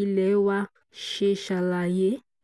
ilé wa ṣe ṣàlàyé